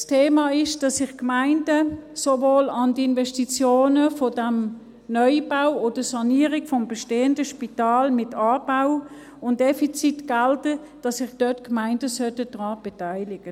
Das Thema ist, dass sich die Gemeinden sowohl an den Investitionen für diesen Neubau oder für die Sanierung des bestehenden Spitals mit Anbau und an den Defizitgeldern beteiligen.